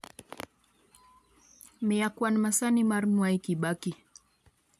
miya kwan masani mar mwai kibaki